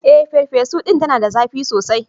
Eh, farfesu din tana da zapi sosai.